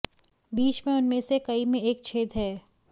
बीच में उनमें से कई में एक छेद है